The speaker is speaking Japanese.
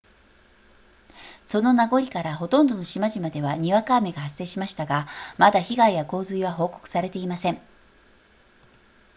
その名残からほとんどの島々ではにわか雨が発生しましたがまだ被害や洪水は報告されていません